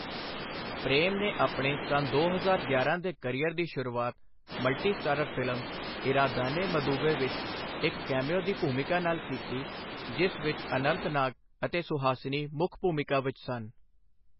ਪ੍ਰੇਮ ਨੇ ਆਪਣੇ ਸੰਨ ਦੋ ਹਜ਼ਾਰ ਗਿਆਰਾਂ ਦੇ ਕਰੀਅਰ ਦੀ ਸ਼ੁਰੂਆਤ multi starrer film Eradane Maduve ਵਿੱਚ ਇੱਕ ਕੈਮਿਓ ਦੀ ਭੂਮਿਕਾ ਨਾਲ ਕੀਤੀ, ਜਿਸ ਵਿੱਚ ਅਨੰਤ ਨਾਗ ਅਤੇ ਸੁਹਾਸਿਨੀ ਮੁੱਖ ਭੂਮਿਕਾ ਵਿੱਚ ਸਨ।